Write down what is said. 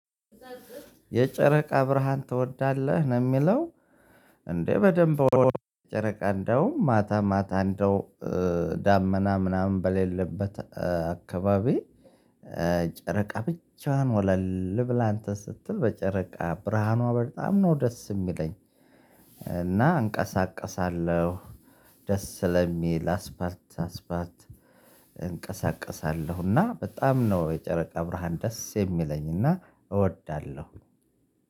የጨረቃ ብርሃን ትወዳለህ ነው የሚለው እንዴ? በደንብ ጨረቃ እንደውም ማታ ማታ እንደው ዳመና ምናምን በሌለበት አካባቢ። ጨረቃ ብቻህን ወለል ብላ እንተን ስትል በጨረቃ ብርሃኗ በጣም ነው ደስ የሚለኝ። እና እንቀሳቀሳለሁ ደስ ስለሚል አስፋልት ለአስፋልት እንቀሳቀሳለሁ። እና በጣም ነው የጨረቃ ብርሃን ደስ የሚለኝ እና እወዳለሁ።